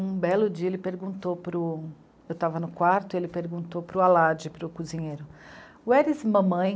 belo dia ele perguntou para o, eu estava no quarto e ele perguntou para o Alad, para o cozinheiro, where is mamãe?